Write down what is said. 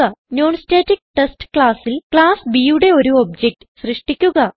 നോൺസ്റ്റാറ്റിക്ടെസ്റ്റ് classൽ ക്ലാസ് Bയുടെ ഒരു ഒബ്ജക്ട് സൃഷ്ടിക്കുക